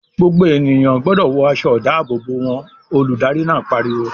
"Gbogbo ènìyàn gbọdọ̀ wọ aṣọ-ìdáàbòbò wọn!" Olùdarí náà pariwo.